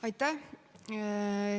Aitäh!